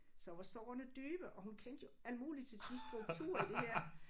Så var sårene dybe og hun kendte jo alt muligt til sådan strukturer i det her